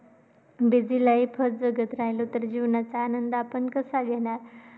Busy life च जगत राहिलो, तर जीवनाचा आनंद आपण कसा घेणार?